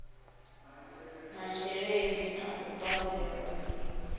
masheleni a u badelela ṱho